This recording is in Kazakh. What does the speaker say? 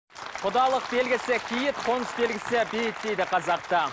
құдалық белгісі киіт қоныс белгісі биік дейді қазақта